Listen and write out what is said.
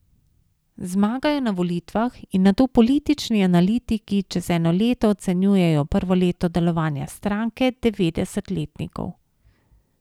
Zmagajo na volitvah in nato politični analitiki čez eno leto ocenjujejo prvo leto delovanja stranke devetdeset letnikov.